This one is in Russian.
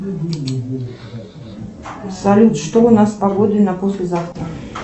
салют что у нас с погодой на послезавтра